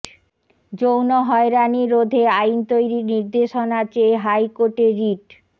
যৌন হয়রানি রোধে আইন তৈরির নির্দেশনা চেয়ে হাইকোর্টে রিট